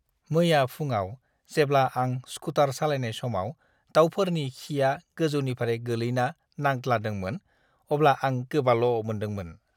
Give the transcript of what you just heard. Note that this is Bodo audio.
मैया फुंआव जेब्ला आं स्कुटार सालायनाय समाव दाउफोरनि खिआ गोजौनिफ्राय गोलैना नांद्लादोंमोन, अब्ला आं गोबाल' मोनदोंमोन।